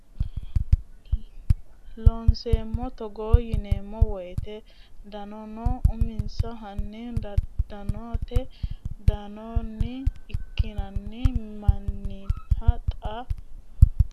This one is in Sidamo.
Looseemmo Togo yineemmo woyte dodaano uminsa hanni Dodaanote dandoonni ikkinnina mannita hexxa Isilanchimma yitanno niwaawe ani dinonsa Looseemmo Looseemmo Togo.